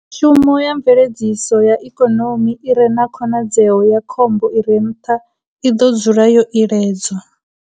Mishumo ya mveledziso ya ikonomi i re na khonadzeo ya khombo i re nṱha i ḓo dzula yo iledzwa.